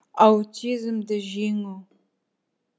аутизмді жеңу